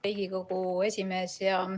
Hea Riigikogu esimees!